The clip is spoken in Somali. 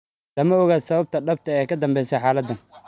Lama oga sababta dhabta ah ee ka danbeysa xaaladan.